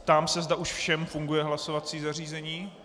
Ptám se, zda už všem funguje hlasovací zařízení.